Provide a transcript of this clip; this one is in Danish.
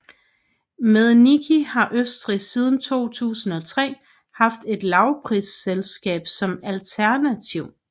Med Niki har Østrig siden 2003 haft et lavprisselskab som alternativ